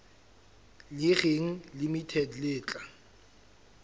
le reng limited le tla